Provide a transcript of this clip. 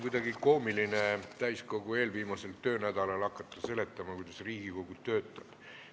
Kuidagi koomiline on hakata täiskogu eelviimasel töönädalal seletama, kuidas Riigikogu töötab.